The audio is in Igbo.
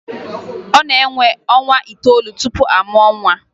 Ọ na-ewe ọnwa itoolu tupu amụọ nwa